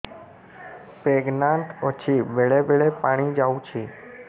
pregnant ଅଛି ବେଳେ ବେଳେ ପାଣି ଯାଉଛି